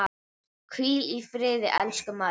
Hvíl í friði, elsku María.